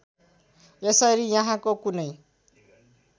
यसरी यहाँको कुनै